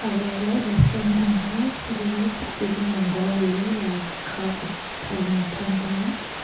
gaga restaurant thang thega gaga sak chi jing low go gale le lai khaw kuthonu tham thega.